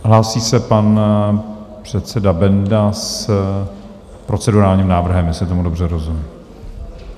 Hlásí se pan předseda Benda s procedurálním návrhem, jestli tomu dobře rozumím.